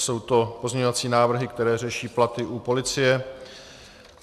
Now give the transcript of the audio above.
Jsou to pozměňovací návrhy, které řeší platy u policie.